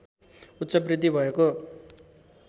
उच्च बृद्धि भएको